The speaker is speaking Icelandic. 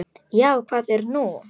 Já, hvað er nú?